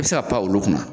I bɛ se ka pan olu kunna